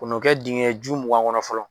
Kɛ n'o kɛ dingɛ ju mugan kɔnɔ fɔlɔ